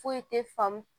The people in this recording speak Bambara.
Foyi tɛ faamu